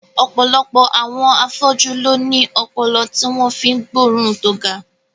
Ọ̀pọ̀lọpọ̀ àwọn afọ́jú ló ní ọpọlọ tí wọ́n fi ń gbóòórùn tó ga